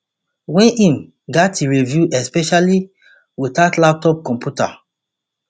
wey im gatz review especially witout laptop computer